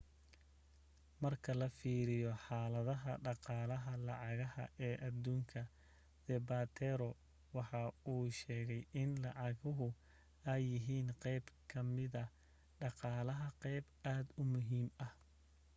marka la fiiriyo xaaladaha dhaqaalaha lacagaha ee aduunka zapatero waxa uu sheegay in lacagahu ay yihiin qeyb kamida dhaqaalaha qeyb aad u muhiim ah